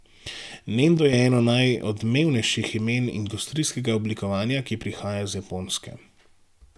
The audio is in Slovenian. Nendo je eno najodmevnejših imen industrijskega oblikovanja, ki prihaja iz Japonske.